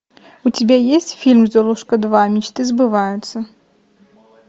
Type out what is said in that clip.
у тебя есть фильм золушка два мечты сбываются